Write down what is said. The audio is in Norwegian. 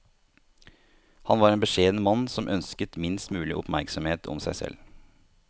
Han var en beskjeden mann som ønsket minst mulig oppmerksomhet om seg selv.